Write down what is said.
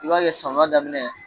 I b'a kɛ samiyɛ daminɛ